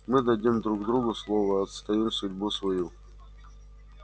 мы дадим друг другу слово отстоим судьбу свою